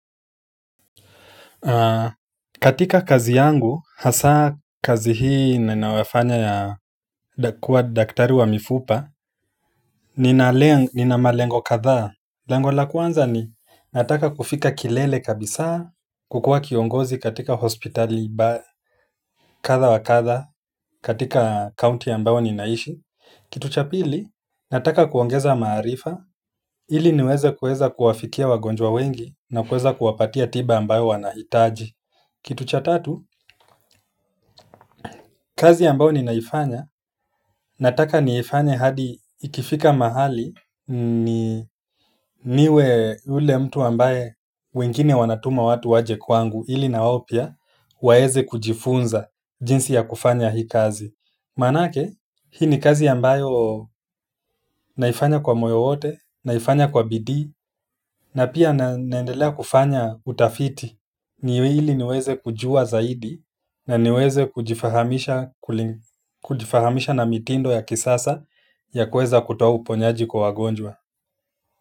Katika kazi yangu hasa kazi hii ninayofanya ya kuwa daktari wa mifupa nina nina malengo kadha lengo la kwanza ni nataka kufika kilele kabisa kukuwa kiongozi katika hospitali kadha wa kadha, katika county ambayo ninaishi kitu cha pili, nataka kuongeza maarifa ili niweze kuweza kuwafikia wagonjwa wengi na kuweza kuwapatia tiba ambayo wanahitaji kitu cha tatu, kazi ambao ni naifanya, nataka niifanya hadi ikifika mahali ni niwe ule mtu ambaye wengine wanatuma watu waje kwangu ili na wao pia waweze kujifunza jinsi ya kufanya hii kazi. Manake, hii ni kazi ambayo naifanya kwa moyo wote, naifanya kwa bidii, na pia naendelea kufanya utafiti ni ili niweze kujua zaidi na niweze kujifahamisha kujifahamisha na mitindo ya kisasa ya kuweza kutoa uponyaji kwa wagonjwa.